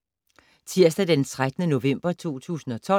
Tirsdag d. 13. november 2012